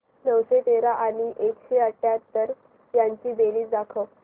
नऊशे तेरा आणि एकशे अठयाहत्तर यांची बेरीज दाखव